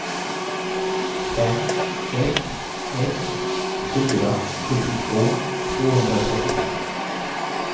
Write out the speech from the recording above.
fem ett ett fyra sjuttiotvå tvåhundratrettiofem